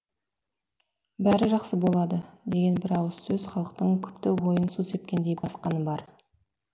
бәрі жақсы болады деген бір ауыз сөз халықтың күпті ойын су сепкендей басқаны бар